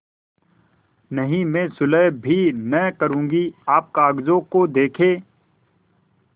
नहीं मैं सुलह कभी न करुँगी आप कागजों को देखें